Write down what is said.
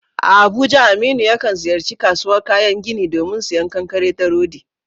A Abuja, Aminu yakan ziyarci kasuwar kayan gini domin sayen kankare da rodi.